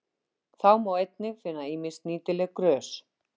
Þá má einnig finna ýmis nýtileg grös.